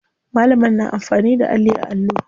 Malamar na amfani da alli a allo.